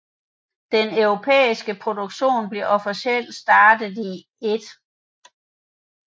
Den europæiske produktion blev officielt startet 1